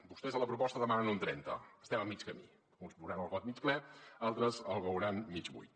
vostès a la proposta demanen un trenta estem a mig camí uns veuran el got mig ple altres el veuran mig buit